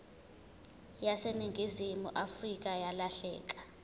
yaseningizimu afrika yalahleka